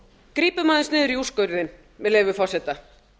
grípum aðeins niður í úrskurðinn með leyfi forseta